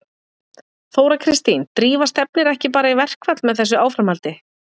Þóra Kristín: Drífa stefnir ekki bara í verkfall með þessu áframhaldi?